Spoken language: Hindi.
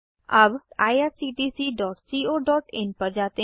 अब httpwwwirctccoin पर जाते हैं